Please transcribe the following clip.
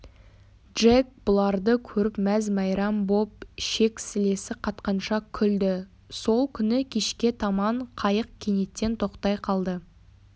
джек бұларды көріп мәз-мәйрам боп шек-сілесі қатқанша күлді сол күні кешке таман қайық кенеттен тоқтай қалды